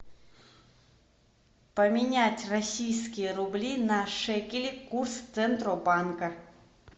поменять российские рубли на шекели курс центробанка